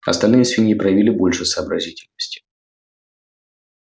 остальные свиньи проявили больше сообразительности